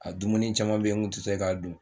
A dumuni caman bɛ yen n kun tɛ se k'a dun